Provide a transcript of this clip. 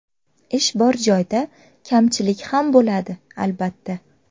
Ish bor joyda kamchilik ham bo‘ladi, albatta.